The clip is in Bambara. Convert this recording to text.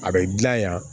A bɛ dilan yan